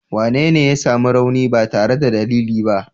Wanene ya sami rauni ba tare da dalili ba?